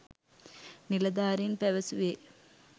නිලධාරීන් පැවසුවේ.